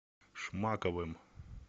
шмаковым